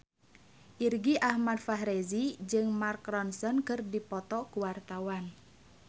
Irgi Ahmad Fahrezi jeung Mark Ronson keur dipoto ku wartawan